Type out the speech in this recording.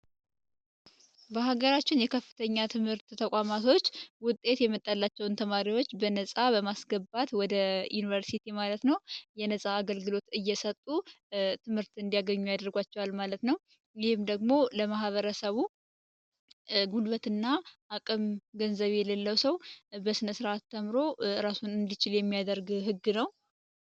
በሀገራችን የከፍተኛ ትምህርት ተቋማቶች ውጤት የመጠላቸውን ተማሪዎች በነጻ በማስገባት ወደ ዩኒቨርሲቲ ማለት ነ የነፃ አገልግሎት እየሰጡ ትምህርት እንዲያገኙ ያደርጓቸዋል ማለት ነው ይህም ደግሞ ለመህበረሰቡ ጉልበት እና አቅም ገንዘብ የሌለው ሰው በስነ ሥርዓት ተምሮ እራሱን እንሊችል የሚያደርግ ህግ ነው።